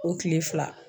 O kile fila